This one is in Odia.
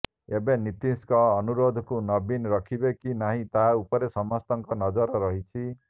ଏବେ ନିତୀଶଙ୍କ ଅନୁରୋଧକୁ ନବୀନ ରଖିବେ କି ନାହିଁ ତା ଉପରେ ସମସ୍ତଙ୍କ ନଜର ରହିଛି